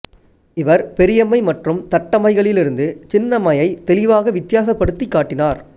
இவர் பெரியம்மை மற்றும் தட்டம்மைகளிலிருந்து சின்னம்மையை தெளிவாக வித்தியாசப்படுத்திக் காட்டினார்